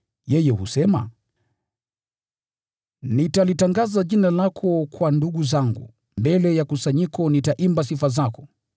Yeye husema, “Nitalitangaza jina lako kwa ndugu zangu; mbele ya kusanyiko nitaimba sifa zako.”